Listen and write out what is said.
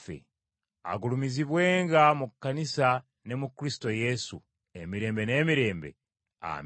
agulumizibwenga mu Kkanisa ne mu Kristo Yesu, emirembe n’emirembe. Amiina.